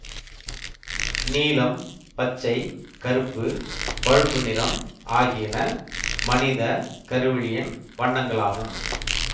நீலம் பச்சை கருப்பு பழுப்பு நிறம் ஆகியன மனித கருவிழியின் வண்ணங்களாகும்